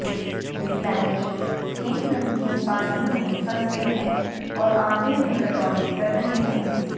Blanche सेम नमकीन पानी में फंस गए हैं और आधे में कटौती कर रहे हैं